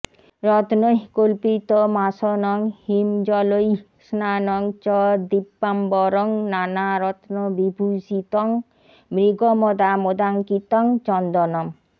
রত্নৈঃ কল্পিতমাসনং হিমজলৈঃ স্নানং চ দিব্যাম্বরং নানারত্নবিভূষিতং মৃগমদামোদাঙ্কিতং চন্দনম্